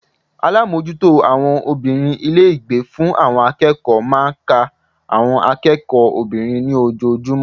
Alámójútó àwon obìnrin Ilé ìgbé fún àwon akéèkó máa n ka àwon akéèkó obìnrin ní ojojúmó